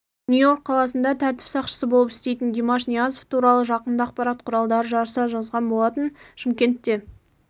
нью-йорк қаласында тәртіп сақшысы болып істейтін димаш ниязов туралы жақында ақпарат құралдары жарыса жазған болатын шымкентте